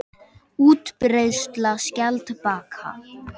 Útbreiðsla skjaldbaka.